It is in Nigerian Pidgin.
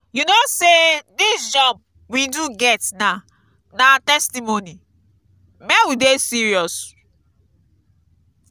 you no say dis job we do get now na testimony make we dey serious.